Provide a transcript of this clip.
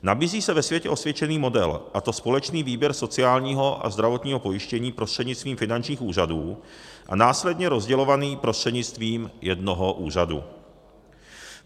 Nabízí se ve světě osvědčený model, a to společný výběr sociálního a zdravotního pojištění prostřednictvím finančních úřadů a následně rozdělovaný prostřednictvím jednoho úřadu.